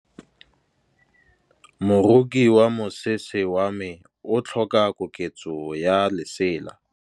Moroki wa mosese wa me o tlhoka koketsô ya lesela.